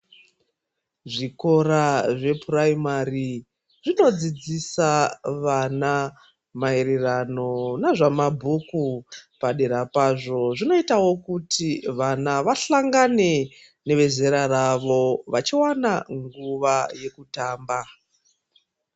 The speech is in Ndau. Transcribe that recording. Zvikora zvepuraimari zvinodzidzisa vana maererano nezvamabhuku padera pazvo zvinoitawo kuti wana, wahlangane newe zera rawo wachiwana nguwa yekutamba.